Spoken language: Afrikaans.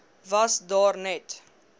was daar net